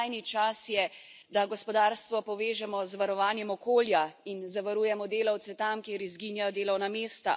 Skrajni čas je, da gospodarstvo povežemo z varovanjem okolja in zavarujemo delavce tam, kjer izginjajo delovna mesta.